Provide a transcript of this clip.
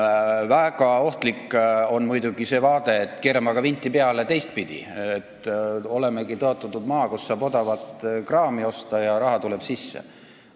Väga ohtlik on muidugi see seisukoht, et keerame vinti teistpidi peale – olemegi tõotatud maa, kust saab odavat kraami osta, ja raha tuleb sisse.